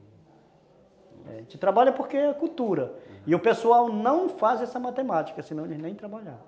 É... A gente trabalha porque é cultura, e o pessoal não faz essa matemática, senão eles nem trabalhavam.